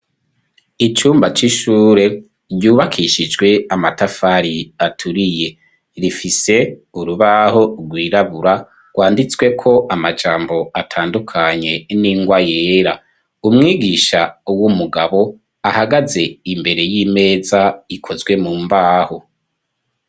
Icumba k'ishure ryubakishijwe amatafari aturiye rifise urubaho rwirabura rwanditswe ko amajambo atandukanye n'ingwa yera umwigisha w'umugabo ahagaze imbere yimeza ikozwe mumbaho.